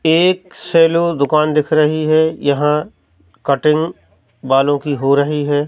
एक सैलून दुकान दिख रही है यहां कटिंग बालों की हो रही है।